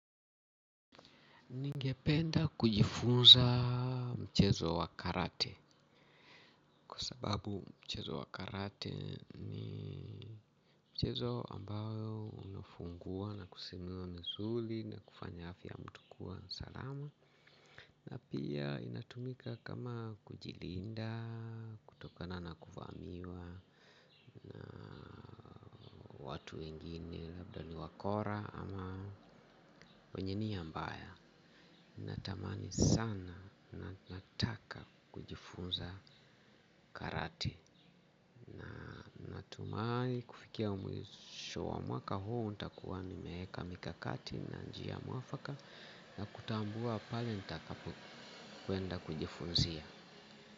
Ningependa kujifunza mchezo wa karate kwa sababu mchezo wa karate ni mchezo ambayo unafungua na kusimua misuli na kufanya afya ya mtu kuwa salama na pia inatumika kama kujilinda, kutokana na kufahamiwa watu wengine labda ni wakora ama wenye nia mbaya natamani sana na nataka kujifunza karate. Natumaini kufikia mwisho wa mwaka huu nitakuwa nimeeka mikakati na njia mwafaka na kutambua pale nitakapokwenda kujifunzia.